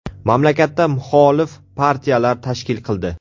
Mamlakatda muxolif partiyalar tashkil qildi.